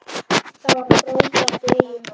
Það var frábært í Eyjum.